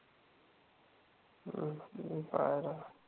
हम्म मी पायला